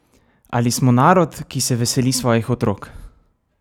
Ali smo narod, ki se veseli svojih otrok?